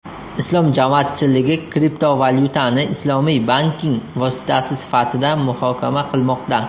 Islom jamoatchiligi kriptovalyutani islomiy banking vositasi sifatida muhokama qilmoqda.